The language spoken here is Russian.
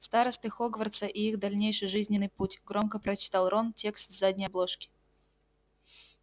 старосты хогвартса и их дальнейший жизненный путь громко прочитал рон текст с задней обложки